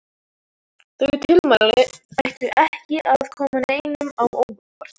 Þau tilmæli ættu ekki að koma neinum á óvart.